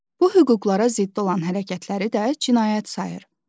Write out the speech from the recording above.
Bu hüquqlara zidd olan hərəkətləri də cinayət sayır.